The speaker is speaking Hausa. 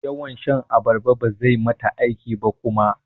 Yawan shan abarba bazai mata aiki ba kuma.